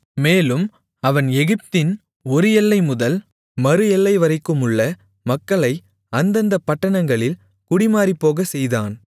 மேலும் அவன் எகிப்தின் ஒரு எல்லை முதல் மறு எல்லைவரைக்குமுள்ள மக்களை அந்தந்தப் பட்டணங்களில் குடிமாறிப்போகச்செய்தான்